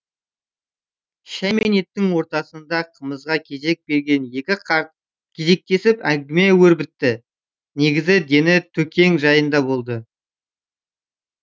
шәй мен еттің ортасында қымызға кезек берген екі қарт кезектесіп әңгіме өрбітті негізгі дені төкең жайында болды